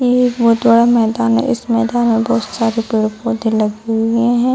ये एक बहुत बड़ा मैदान है। इस मैदान में बहुत सारे पेड़-पौधे लगे हुए हैं।